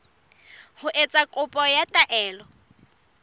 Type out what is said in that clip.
ho etsa kopo ya taelo